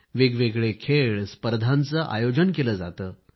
वेगवेगळे खेळ स्पर्धांचे आयोजनही केले जाते